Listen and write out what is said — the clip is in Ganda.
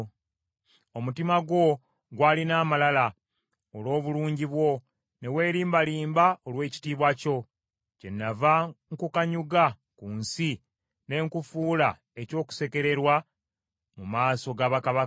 Omutima gwo gwalina amalala olw’obulungi bwo, ne weelimbalimba olw’ekitiibwa kyo. Kyennava nkukanyuga ku nsi ne nkufuula eky’okusekererwa mu maaso ga bakabaka.